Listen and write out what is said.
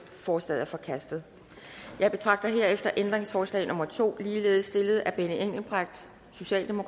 forslaget er forkastet jeg betragter herefter ændringsforslag nummer to ligeledes stillet af benny engelbrecht